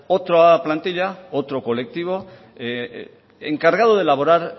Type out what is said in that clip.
otras plantilla otro colectivo encargado de elaborar